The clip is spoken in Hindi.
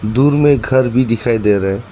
दूर में घर भी दिखाई दे रहा है।